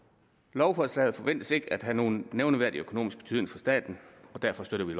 lovforslaget forventes ikke at have nogen nævneværdig økonomisk betydning for staten og derfor støtter vi